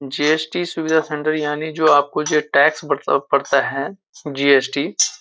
JST. सुविधा centre यानि जो आप को जो है टैक्स बढता पड़ता है जी.एस.टी. --